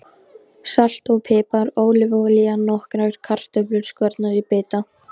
Salt og pipar Ólífuolía Nokkrar kartöflur skornar í bita.